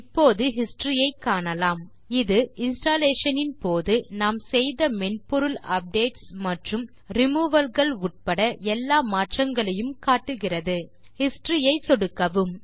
இப்போது ஹிஸ்டரி ஐ காணலாம் இது இன்ஸ்டாலேஷன்ஸ் ன் போது நாம் செய்த மென்பொருள் அப்டேட்ஸ் மற்றும் ரிமூவல் கள் உட்பட எல்லா மாற்றங்களையும் காட்டுகிறது ஹிஸ்டரி ஐ சொடுக்கவும்